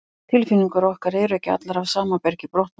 tilfinningar okkar eru ekki allar af sama bergi brotnar